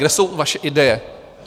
Kde jsou vaše ideje?